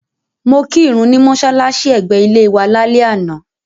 Mo kí ìrun ní mọ́ṣálàṣí ẹ̀gbẹ́ ilé wa lálẹ́ àná.